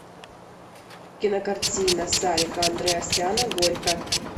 кинокартина сарика андреасяна горько